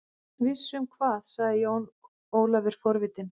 Viss um hvað, sagði Jón Ólafur forvitinn.